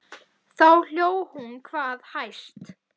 Þá hló hún hvað hæst.